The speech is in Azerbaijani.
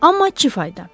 Amma çi fayda.